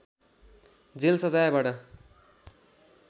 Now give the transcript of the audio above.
jail सजायबाट